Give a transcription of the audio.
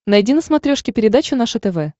найди на смотрешке передачу наше тв